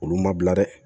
Olu ma bila dɛ